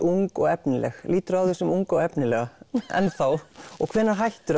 ung og efnileg líturðu á þig sem unga og efnilega enn þá og hvenær hættir